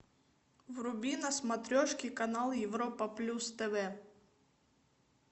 вруби на смотрешке канал европа плюс тв